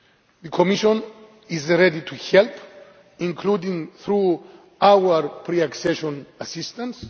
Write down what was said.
EU. The Commission is ready to help, including through pre accession assistance.